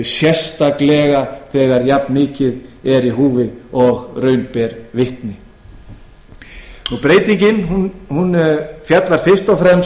sérstaklega þegar jafnmikið er í húfi og raun ber vitni sú breyting sem hér er lögð til er fyrst og